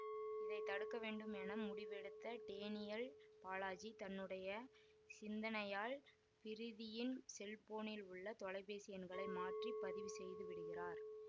இதை தடுக்கவேண்டும் என முடிவெடுத்த டேனியல் பாலாஜி தன்னுடைய சிந்தனையால் பிரீதியின் செல்போனில் உள்ள தொலைபேசி எண்களை மாற்றி பதிவு செய்து விடுகிறார்